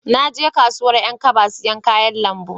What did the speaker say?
Na je kasuwan 'yan kaba sayan kayan lambu